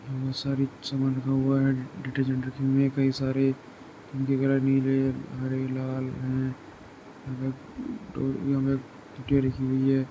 बोहोत सारी चमन रखा हुआ डिटर्जेंट रखी हुई है कई सारे उनके कलर नीले हरे लाल है टिकिया रखी हुई है।